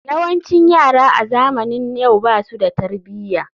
Yawancin yara a zamanin yau basu da tarbiyya.